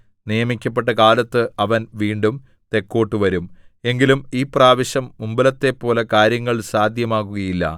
നിയമിക്കപ്പെട്ട കാലത്ത് അവൻ വീണ്ടും തെക്കോട്ടു വരും എങ്കിലും ഈ പ്രാവശ്യം മുമ്പത്തെപ്പോലെ കാര്യങ്ങൾ സാദ്ധ്യമാകുകയില്ല